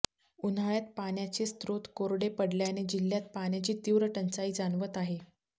उन्हाळ्यात पाण्याचे स्त्रोत कोरडे पडल्याने जिल्हयात पाण्याची तीव्र टंचाई जाणवत आहे